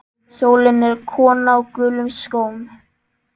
Sólin er kona á gulum skóm.